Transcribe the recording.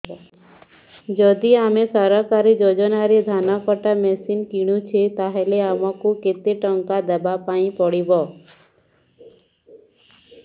ଯଦି ଆମେ ସରକାରୀ ଯୋଜନାରେ ଧାନ କଟା ମେସିନ୍ କିଣୁଛେ ତାହାଲେ ଆମକୁ କେତେ ଟଙ୍କା ଦବାପାଇଁ ପଡିବ